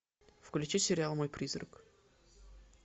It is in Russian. включи сериал мой призрак